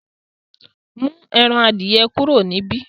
mú èràn adiẹ kúrò ni bí.